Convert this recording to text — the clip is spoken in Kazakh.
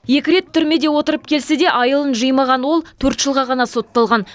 екі рет түрмеде отырып келсе де айылын жимаған ол төрт жылға ғана сотталған